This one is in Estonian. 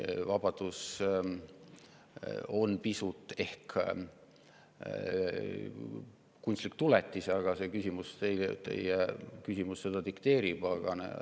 Vabadus on pisut kunstlik tuletis, aga teie küsimus dikteerib seda.